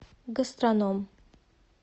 гастрономъ